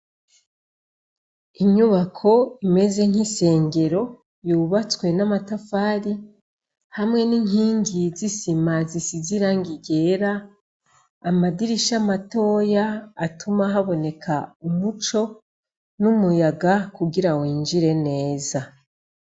Inyubako imeze nk'isengero yubatswe n' amatafari hamwe n' inkingi z' isima zisize irangi ryera amadirisha matoya atuma haboneka umuco n' umuyaga kugira winjire neza.